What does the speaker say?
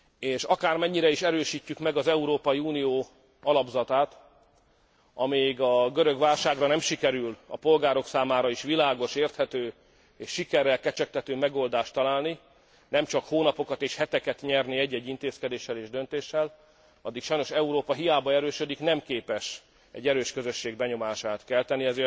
És akármennyire is erősítjük meg az Európai Unió alapzatát, amíg a görög válságra nem sikerül a polgárok számára is világos, érthető és sikerrel kecsegtető megoldást találni nemcsak hónapokat és heteket nyerni egy egy intézkedéssel és döntéssel, addig Európa sajnos hiába erősödik, nem képes egy erős közösség benyomását kelteni.